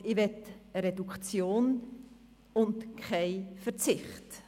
Und ich möchte eine Reduktion, und keinen Verzicht.